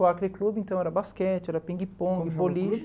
O Acre Clube, então, era basquete, era pingue-pongue, boliche.